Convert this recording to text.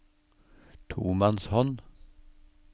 tomannshånd